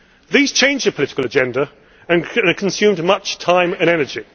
These changed the political agenda and consumed much time and energy.